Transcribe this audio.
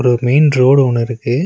ஒரு main road ஒன்னு இருக்கு.